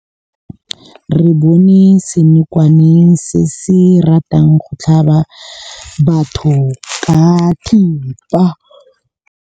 Re bone senokwane se se ratang go tlhaba batho ka thipa.